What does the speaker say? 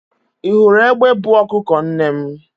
ị hụrụ egbe buu ọkụkọ nne m?